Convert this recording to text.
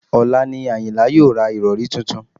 Ọ̀la ni àyìnlá yóò ra ìrọ̀rí tuntun